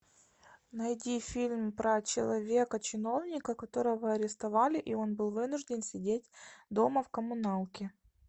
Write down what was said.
найди фильм про человека чиновника которого арестовали и он был вынужден сидеть дома в коммуналке